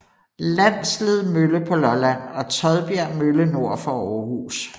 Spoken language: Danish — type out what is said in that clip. Landsled Mølle på Lolland og Todbjerg Mølle nord for Århus